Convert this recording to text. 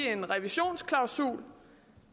en revisionsklausul